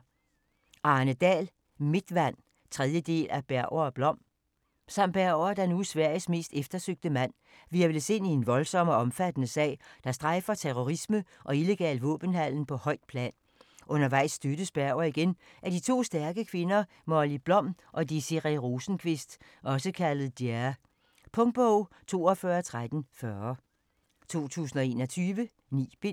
Dahl, Arne: Midtvand 3. del af Berger & Blom. Sam Berger, der nu er Sveriges mest eftersøgte mand, hvirvles ind i en voldsom og omfattende sag, der strejfer terrorisme og illegal våbenhandel på et højt plan. Undervejs støttes Berger igen af de to stærke kvinder Molly Blom og Desiré Rosenquist også kaldet Deer. Punktbog 421340 2021. 9 bind.